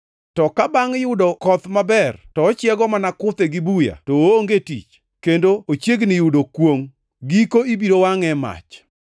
To ka bangʼ yudo koth maber to ochiego mana kuthe gi buya to oonge tich, kendo ochiegni yudo kwongʼ. Giko ibiro wangʼe e mach.